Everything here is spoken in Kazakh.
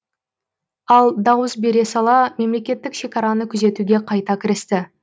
ал дауыс бере сала мемлекеттік шекараны күзетуге қайта кірісті